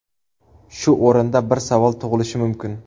Shu o‘rinda bir savol tug‘ilishi mumkin.